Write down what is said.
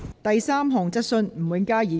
第三項質詢。